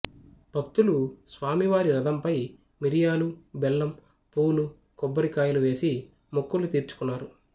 భక్తులు స్వామివారి రథంపై మిరియాలు బెల్లం పూలు కొబ్బరికాయలు వేసి మొక్కులు తీర్చుకున్నారు